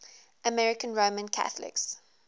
american roman catholics